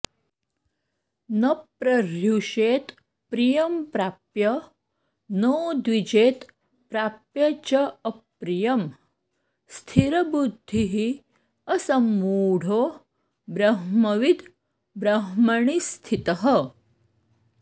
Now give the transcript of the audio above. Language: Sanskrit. न प्रहृष्येत् प्रियं प्राप्य नोद्विजेत् प्राप्य च अप्रियम् स्थिरबुद्धिः असम्मूढो ब्रह्मविद् ब्रह्मणि स्थितः